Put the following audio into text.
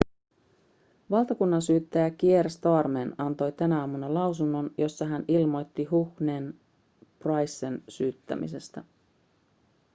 valtakunnansyyttäjä kier starmer antoi tänä aamuna lausunnon jossa hän ilmoitti huhnen ja prycen syyttämisestä